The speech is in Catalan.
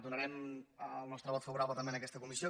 donarem el nostre vot favorable també a aquesta comissió